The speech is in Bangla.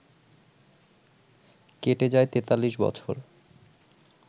কেটে যায় ৪৩ বছর